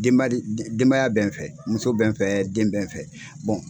Denbaya denbaya bɛ n fɛ, muso bɛ n fɛ, den bɛ n fɛ,